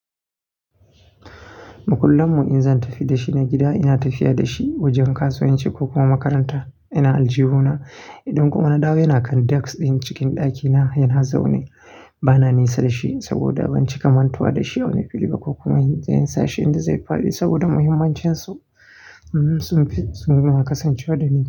Makullanmu in zan tafi da shi na gida, ina tafiya da shi wajen kasuwanci ko kuma makaranta. Ina aljihuna, idan kuma na dawo yana kan daks ɗin cikin ɗakina yana zaune. Bana nesa da shi saboda ban ci kamantawa da shi wani fili ba ko kuma in zai yi sashe inda zai faɗi saboda muhimmancinsu sun fi sun kasance waɗani.